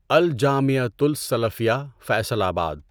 الجامعۃُ السلفیہ فیصل آباد